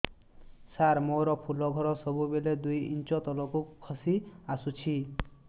ସାର ମୋର ଫୁଲ ଘର ସବୁ ବେଳେ ଦୁଇ ଇଞ୍ଚ ତଳକୁ ଖସି ଆସିଛି